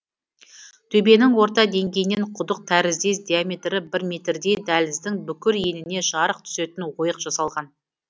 төбенің орта деңгейінен құдық тәріздес диаметрі бір метрдей дәліздің бүкіл еніне жарық түсетін ойық жасалған